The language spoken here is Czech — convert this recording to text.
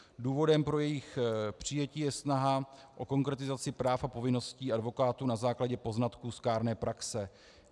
Důvodem pro jejich přijetí je snaha o konkretizaci práv a povinností advokátů na základě poznatků z kárné praxe.